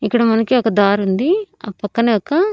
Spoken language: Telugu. ఇక్కడ మనకి ఒక దారుంది ఆ పక్కనే ఒక--